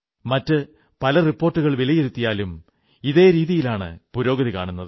മറ്റു പല റിപ്പോർട്ടുകൾ വിലയിരുത്തിയാലും ഇതേ രീതിയാണ് പുരോഗതി കാണുന്നത്